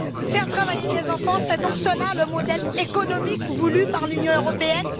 Faire travailler des enfants, c'est donc cela le modèle économique voulu par l'Union européenne?